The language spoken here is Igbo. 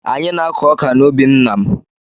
Anyị na-akụ ọka n’ubi nna m